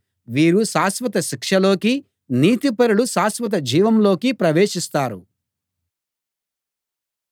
వీరు శాశ్వత శిక్షలోకీ నీతిపరులు శాశ్వత జీవంలోకీ ప్రవేశిస్తారు